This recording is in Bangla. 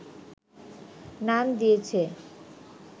নাম দিয়েছে